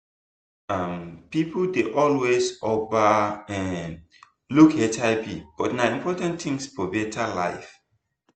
um people dey always over um look hivbut na important thing for better life